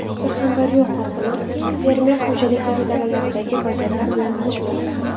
Surxondaryo hokimi fermer xo‘jaliklari dalalaridagi vaziyatlar bilan tanishmoqda.